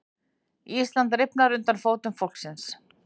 Íslandið rifnar undir fótum fólksins